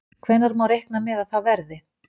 Hvenær má reikna með að það verði?